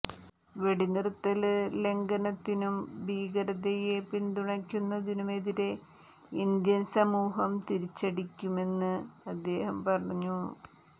വെടിനിര്ത്തല് ലംഘനത്തിനും ഭീകരതയെ പിന്തുണയ്ക്കുന്നതിനുമെതിരെ ഇന്ത്യന് സൈന്യം തിരിച്ചടിക്കുമെന്നും അദ്ദേഹം പറഞ്ഞു